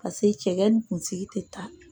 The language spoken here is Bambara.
Paseke cɛgɛ ni kunsigi tɛ taa